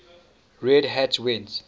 red hat went